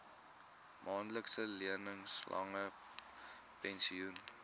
maandelikse lewenslange pensioen